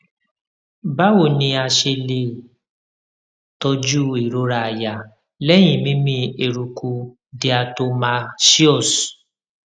báwo ni a ṣe lè tọjú ìrora àyà lẹyìn mímí eruku diatomaceous